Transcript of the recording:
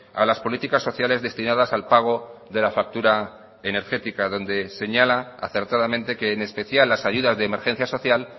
a las políticas sociales destinadas al pago de la factura energética donde señala acertadamente que en especial las ayudas de emergencia social